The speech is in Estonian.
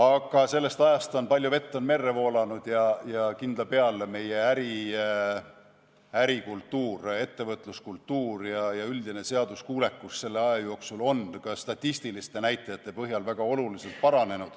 Aga sellest ajast on palju vett merre voolanud ja kindla peale meie ärikultuur, ettevõtluskultuur ja üldine seaduskuulekus on selle aja jooksul ka statistiliste näitajate põhjal väga oluliselt paranenud.